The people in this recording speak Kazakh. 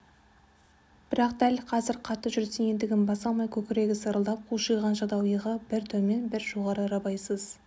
бірақ дәл қазір қатты жүрістен ентігін баса алмай көкірегі сырылдап қушиған жадау иығы бір төмен бір жоғары рабайсыз